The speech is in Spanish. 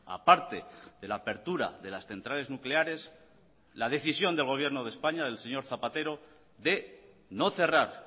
a parte de la apertura de las centrales nucleares la decisión del gobierno de españa del señor zapatero de no cerrar